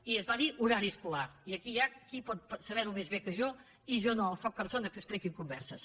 i es va dir horari escolar i aquí hi ha qui pot saber ho més bé que jo i jo no sóc persona que expliqui converses